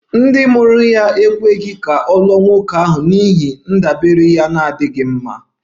Ndị mụrụ ya ekweghị ka ọ lụọ nwoke ahụ n'ihi ndabere ya na-adịghị mma